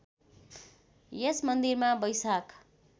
यस मन्दिरमा वैशाख